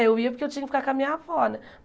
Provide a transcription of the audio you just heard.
Eu ia porque eu tinha que ficar com a minha avó né.